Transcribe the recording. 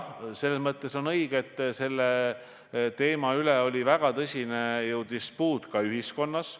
Selles mõttes on küll õige, et selle teema üle oli ju väga tõsine dispuut ka ühiskonnas.